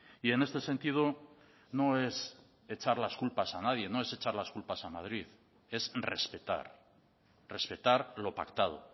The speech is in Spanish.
y en este sentido no es echar las culpas a nadie no es echar las culpas a madrid es respetar respetar lo pactado